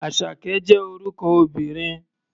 Àṣàkẹ́ jẹ́ orúkọ obìnrin.